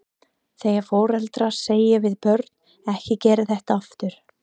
Þegar foreldrar segja við börn, ekki gera þetta aftur?